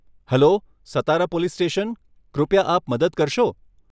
Hello, Satara police station, કૃપયા આપ મદદ કરશો?